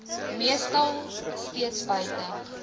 meestal steeds buite